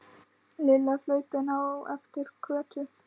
Lilla hlaupin á eftir Kötu.